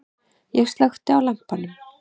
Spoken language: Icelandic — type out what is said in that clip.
Ég slökkti á lampanum.